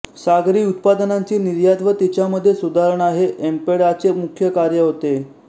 सागरी उत्पादनांची निर्यात व तिच्यामध्ये सुधारणा हे एम्पेडाचे मुख्य कार्य आहे